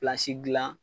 dilan